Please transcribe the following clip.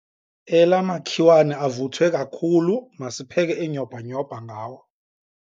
Ela makhiwane avuthwe kakhulu masipheke inyhobhanyhobha ngawo.